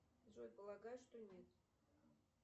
джой полагаю что нет